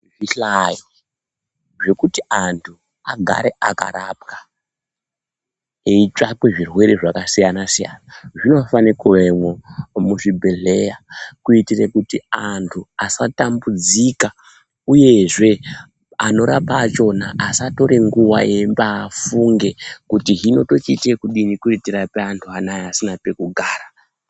Zvihlayo zvekuti antu agare akarapwa eyitsvakwe zvirwere zvakasiyana-siyana, zvinofane kuvemwo muzvibhedhleya, kuyitire kuti antu asatambudzika, uyezve anorapa achona asatore nguwa eyimbaafunge kuti hino tochiyita ekudini kuyitira antu anaya asina pekugara.